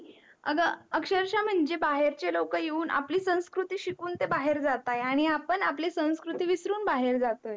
अग अक्षरक्ष म्हणजे बाहेरचे लोक येऊन आपली संस्कृति शिकून बाहेर जात आहे आणि आपण आपली संस्कृति विसरून बाहेर जात अहो